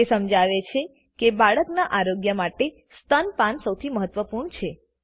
તે સમજાવે છે કે બાળક ના આરોગ્ય માટે સ્તનપાન સૌથી મહત્વપૂર્ણ છે